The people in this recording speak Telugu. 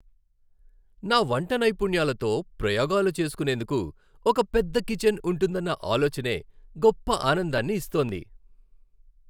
నా వంట నైపుణ్యాలతో ప్రయోగాలు చేసుకునేందుకు ఒక పెద్ద కిచన్ ఉంటుందన్న ఆలోచనే గొప్ప ఆనందాన్ని ఇస్తోంది.